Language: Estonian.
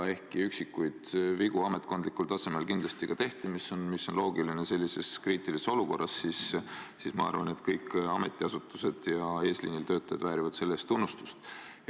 Ehkki üksikuid vigu ametkondlikul tasemel kindlasti ka tehti, mis on loogiline sellises kriitilises olukorras, arvan ma, et kõik ametiasutused ja eesliinitöötajad väärivad tunnustust.